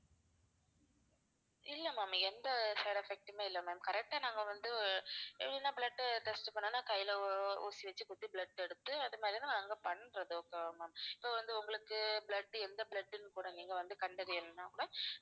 இல்ல ma'am எந்த side effect மே இல்லை ma'am correct ஆ நாங்க வந்து blood test பண்ணனும்னா கையில ஊ~ ஊசி வைச்சி குத்தி blood எடுத்து அது மாதிரி தான் நாங்க பண்றது okay வா ma'am இப்ப வந்து உங்களுக்கு blood எந்த blood ன்னு கூட நீங்க வந்து கண்டறியலனா கூட